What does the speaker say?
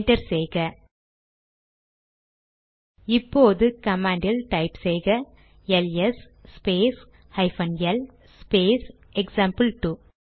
enter செய்க இப்போது command type செய்க LS space hyphen L space எக்சாம்பிள்2